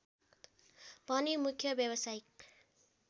पनि मुख्य व्यावसायिक